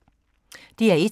DR1